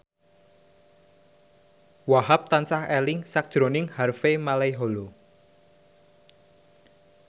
Wahhab tansah eling sakjroning Harvey Malaiholo